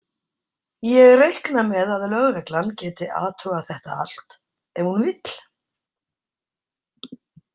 Ég reikna með að lögreglan geti athugað þetta allt ef hún vill.